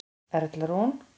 Erla Rún.